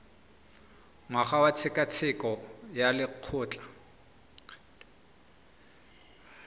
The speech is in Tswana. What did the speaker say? ngwaga wa tshekatsheko ya lokgetho